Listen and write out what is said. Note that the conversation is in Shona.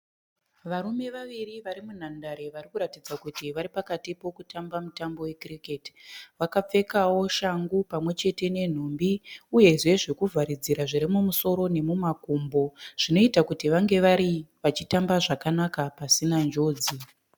Varume vaviri vari munhandare vari kuratidza kuti vari pakati pokutamba mutambo we kiriketi. Vakapfekao shangu pamwechete nenhumbi uyezve zvekuvharidzira zviri mumusoro nemumakumbo zvinoita kuti vange vari vachitamba zvakanaka pasina njodzi.